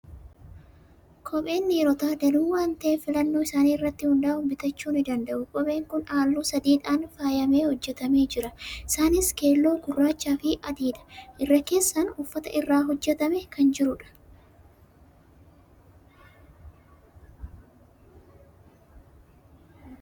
Kopheen dhiirotaa danuu waan ta'eef filannoo isaanii irratti hundaa'uun bitachuu ni danda'u. Kopheen kun halluu sadiidhaan faayamee hojjetamee jira. Isaanis: keelloo, gurraachaa fi adiidha. Irra keessaan uffata irraa hojjetamee kan jirudha.